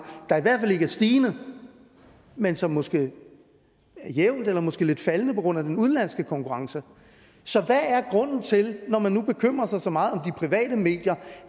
der i hvert fald ikke er stigende men som måske er jævnt eller måske lidt faldende på grund af den udenlandske konkurrence så hvad er grunden til når man nu bekymrer sig så meget om de private medier